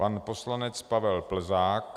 Pan poslanec Pavel Plzák.